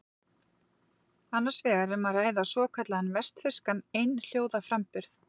Annars vegar er um að ræða svokallaðan vestfirskan einhljóðaframburð.